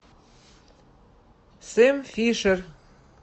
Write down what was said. сэм фишер